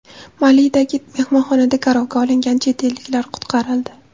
Malidagi mehmonxonada garovga olingan chet elliklar qutqarildi.